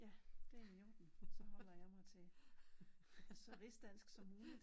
Ja det er i orden så holder jeg mig til så rigsdansk som muligt